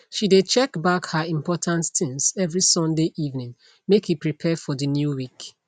she de check back her important things every sunday evening make e prepare for de new week